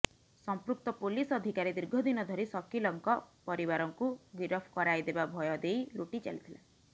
ସଂପୃକ୍ତ ପୋଲିସ୍ ଅଧିକାରୀ ଦୀର୍ଘଦିନ ଧରି ସକିଲଙ୍କ ପରିବାରକୁ ଗିରଫ କରାଇଦେବା ଭୟ ଦେଇ ଲୁଟି ଚାଲିଥିଲା